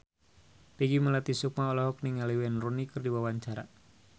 Peggy Melati Sukma olohok ningali Wayne Rooney keur diwawancara